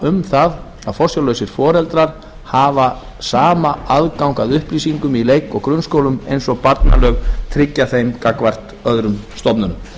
um það að forsjárlausir foreldrar hafa sama aðgang að upplýsingum í leik og grunnskólum eins og barnalög tryggja þeim gagnvart öðrum stofnunum